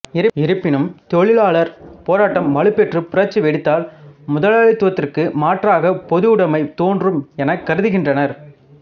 இருப்பினும் தொழிலாளர் போராட்டம் வலுப்பெற்று புரட்சி வெடித்தால் முதலாளித்துவத்திற்கு மாற்றாக பொதுவுடமை தோன்றும் எனக் கருதிகின்றனர்